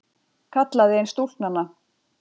kallaði ein stúlknanna.